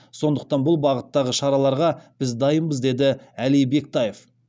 сондықтан бұл бағыттағы шараларға біз дайынбыз деді әли бектаев